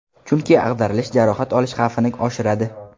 Chunki ag‘darilish jarohat olish xavfini oshiradi.